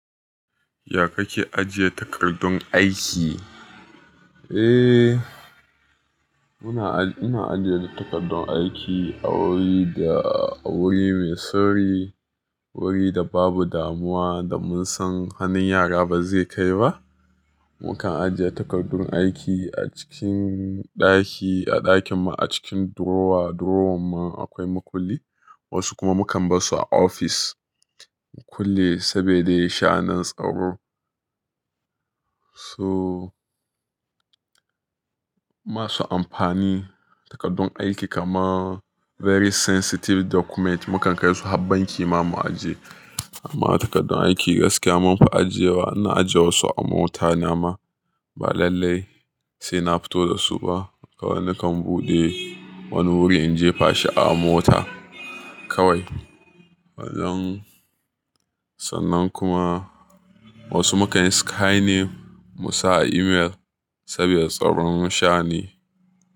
Ya kake ajiye takardun aiki? Eh, muna, ina ajiye takardun aiki a wuri da a wuri mai sirri wuri da babu damuwa da mun san hannun yara ba zai kai ba. Mukan ajiye takardun aiki a cikin ɗaki a ɗakin mu a cikin drawer, drawer man akwai makulli. Wasu kuma mukan barsu a ofis mu kulle saboda sha'anin tsaro. So masu amfani takardun aiki kamar very sensitive document mukan kai su har banki ma mu ajiye. Amma takardun aiki gaskiya mun fi ajiyewa, na ajiye wasu a mota na ma ba lallai sai na fito da su ba. Kawai nakan buɗe wani wuri in jefa shi a mota kawai. Wannan sannan kuma wasu mukan scanning mu sa a email saboda tsaron sha ne.